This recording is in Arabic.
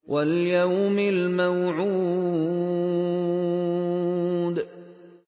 وَالْيَوْمِ الْمَوْعُودِ